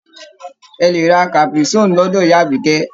Ẹ lè ra caprisonne lọ́dọ̀ ìyá Àbíkẹ́.